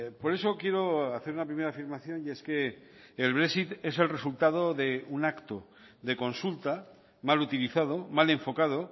por eso quiero hacer una primera afirmación y es que el brexit es el resultado de un acto de consulta mal utilizado mal enfocado